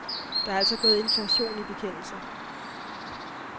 Der er altså gået inflation i bekendelser.